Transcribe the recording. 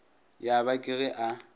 ya ba ke ge a